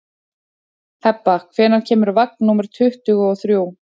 Hebba, hvenær kemur vagn númer tuttugu og þrjú?